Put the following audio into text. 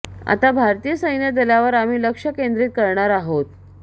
आता भारतीय सैन्य दलावर आम्ही लक्ष केंद्रीत करणार आहोत